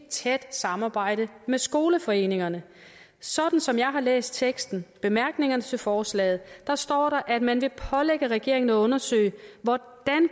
tæt samarbejde med skoleforeningerne sådan som jeg har læst teksten bemærkningerne til forslaget står der at man vil pålægge regeringen at undersøge hvordan